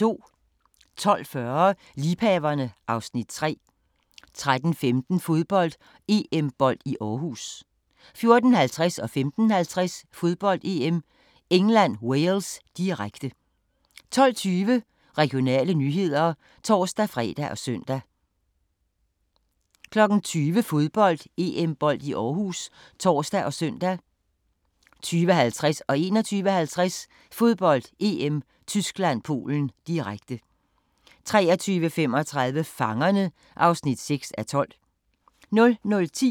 12:40: Liebhaverne (Afs. 3) 13:15: Fodbold: EM-bold i Aarhus 14:50: Fodbold: EM - England-Wales, direkte 15:50: Fodbold: EM - England-Wales, direkte 18:12: Regionale nyheder (tor-fre og søn) 20:00: Fodbold: EM-bold i Aarhus (tor og søn) 20:50: Fodbold: EM - Tyskland-Polen, direkte 21:50: Fodbold: EM - Tyskland-Polen, direkte 23:35: Fangerne (6:12) 00:10: Grænsepatruljen